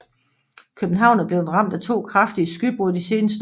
København er blevet ramt af to kraftige skybrud de seneste år